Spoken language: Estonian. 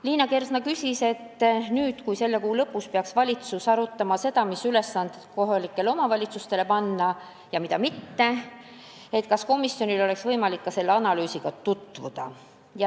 Liina Kersna küsis, kas nüüd, kui selle kuu lõpus peaks valitsus arutama, mis ülesanded panna kohalikele omavalitsustele ja mida mitte, oleks komisjonil võimalik ka selle analüüsiga tutvuda.